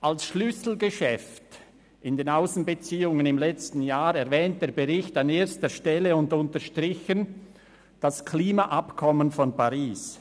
Als Schlüsselgeschäft in den Aussenbeziehungen im letzten Jahr erwähnt der Bericht an erster Stelle und unterstrichen das Klimaabkommen von Paris.